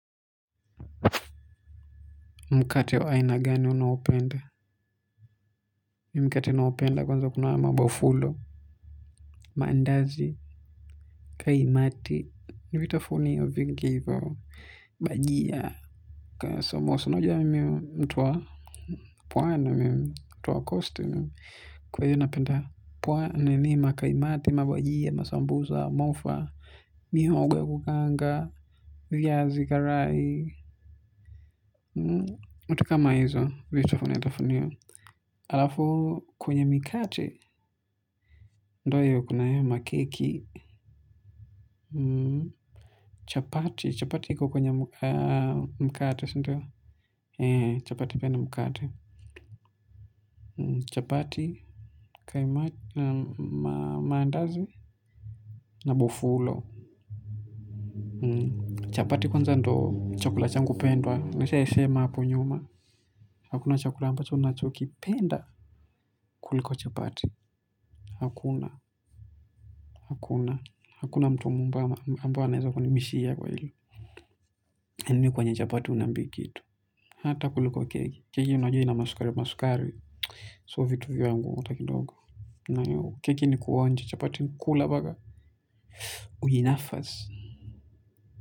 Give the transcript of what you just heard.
Mkate wa ina gani unaoupenda. Mimimkate ninaoupenda kwanza kunahaya mabofulo. Maandazi. Kaimati. Ni vitafunio vingivyo. Bajia. Kaa samosa una jua miminimtuwa. Pwani mtuwa costi. Kwa hiyo napenda. Pwani nini makaimati, mabajia, masambusa, mofa. Mihogo ya kukaanga. Viazi, karai. Vitu kama hizo vitafunio. Alafu kwenye mikate ndo hiyo kuna hayo makeki chapati chapati ikokwenye mkati chapati piani mkate chapati mandazi na bofulo chapati kwanza ndio chakula changu pendwa nishaisema hapo nyuma hakuna chakula ambacho ninachoki penda kuliko chapati hakuna. Hakuna. Hakuna mtuambaye anaweza kuni bishia kwa hili. Yaani kwe nye chapati huniambi kitu. Hata kuliko kegi. Keki unajua ina masukari masukari. Sio vitu vya ngu hatakidogo. Kwahiyo keki ni kuonja chapati nikula mbaka. Ujinafasi.